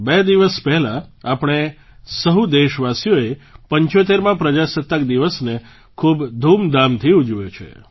બે દિવસ પહેલાં આપણે સહુ દેશવાસીઓએ 75મા પ્રજાસત્તાક દિવસને ખૂબ ધામધૂમથી ઉજવ્યો છે